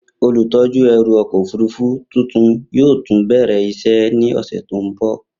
Olutọju ẹru ọkọ ofurufu tuntun yoo tun bẹrẹ iṣẹ ni ọsẹ ti n bọ.